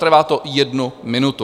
Trvá to jednu minutu.